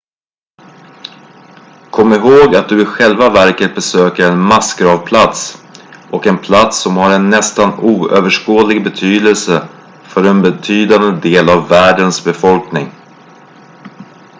kom ihåg att du i själva verket besöker en massgravplats och en plats som har en nästan oöverskådlig betydelse för en betydande del av världens befolkning